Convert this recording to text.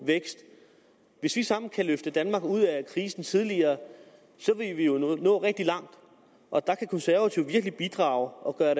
vækst hvis vi sammen kan løfte danmark ud af krisen tidligere vil vi jo nå rigtig langt og der kan konservative virkelig bidrage og gøre